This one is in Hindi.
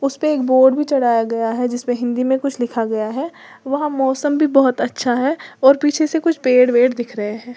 उस पे एक बोर्ड भी चढ़ाया गया है जिसमें हिंदी में कुछ लिखा गया है वहां मौसम भी बहुत अच्छा है और पीछे से कुछ पेड़ वेड़ दिख रहे हैं।